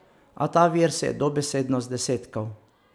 A ta vir se je dobesedno zdesetkal.